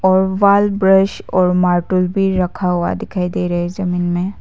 और wall brush और marble भी रखा हुआ दिखाई दे रहा है जमीन में।